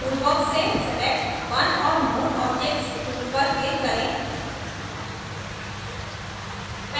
tool box से select one or more objects tool पर click करें